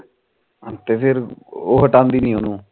ਫਿਰ ਉਹ ਹਟਾਦੀ ਨੀ ਉਹਨੂੰ